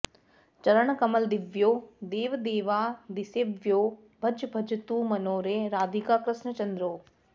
चरणकमलदिव्यौ देवदेवादिसेव्यौ भज भज तु मनो रे राधिकाकृष्णचन्द्रौ